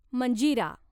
Manjira